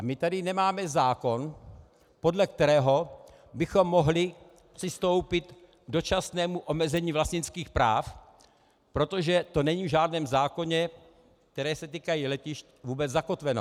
A my tady nemáme zákon, podle kterého bychom mohli přistoupit k dočasnému omezení vlastnických práv, protože to není v žádném zákoně, které se týkají letišť, vůbec zakotveno.